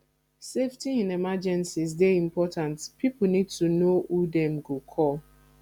safety in emergencies dey important pipo need to know who dem go call